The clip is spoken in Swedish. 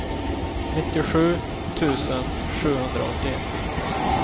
nittiosju tusen sjuhundraåttioett